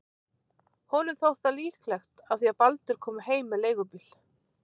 Honum þótt það líklegt af því að Baldur kom heim með leigubíl.